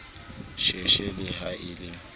sheshe le ha e le